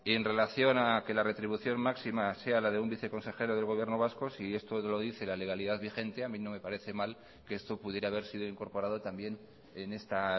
en relación a que la retribución máxima sea la de un viceconsejero del gobierno vasco si esto lo dice la legalidad vigente a mí no me parece mal que esto pudiera haber sido incorporado también en esta